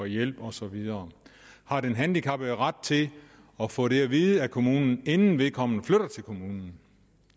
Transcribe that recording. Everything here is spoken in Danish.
hjælp osv har den handicappede ret til at få det at vide af kommunen inden vedkommende flytter til kommunen